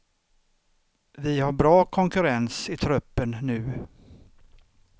Vi har bra konkurrens i truppen nu.